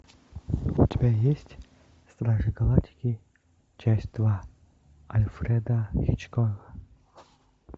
у тебя есть стражи галактики часть два альфреда хичкока